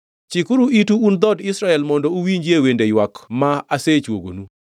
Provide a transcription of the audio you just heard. Chikuru itu un dhood Israel mondo uwinjie wende ywak ma asechuogonu: